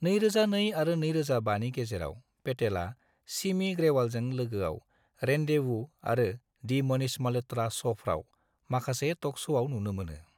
2002 आरो 2005 नि गेजेराव, पेटेला सिमी ग्रेवालजों लोगोआव रेंन्डेवू आरो दि मनीष म'ल्हत्रा शफ्राव माखासे टक श'आव नुनो मोनो।